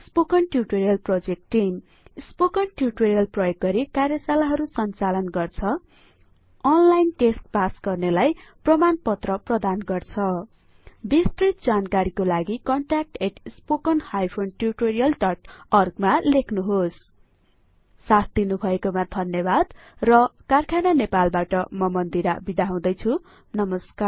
spoken tutorial project team spoken tutorial प्रयोग गरि कार्यशाला हरु संचालन गर्छ अनलाइन टेस्ट पास गर्नेलाई प्रमाणपत्र प्रदान गर्छ बिस्तृत जानकारी को लागि contact spoken hyphen tutorial dot अर्गमा लेख्नुहोला साथ दिनुभएकोमा धन्यबाद र कारखाना नेपाल बाट म मन्दिरा बिदा हुदैछु नमस्कार